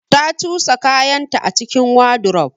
Ta cusa kayanta a cikin wardrobe.